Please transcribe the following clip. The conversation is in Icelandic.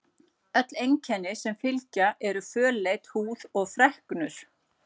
Önnur einkenni sem fylgja eru fölleit húð og freknur.